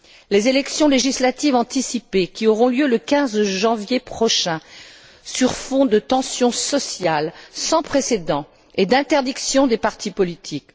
Des élections législatives anticipées auront lieu le 15 janvier prochain, sur fond de tensions sociales sans précédent et d'interdiction des partis politiques.